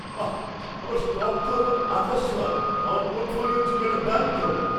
বাঃ, আমার স্টক তো এখন আকাশ ছোঁয়া! আমার পোর্টফোলিওর জন্য এটা দারুণ খবর।